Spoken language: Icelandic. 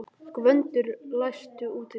Gvöndur, læstu útidyrunum.